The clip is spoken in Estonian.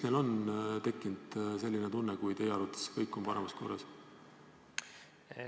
Miks on neil tekkinud selline tunne, kui teie arvates on kõik parimas korras?